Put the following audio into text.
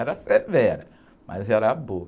Era severa, mas era boa.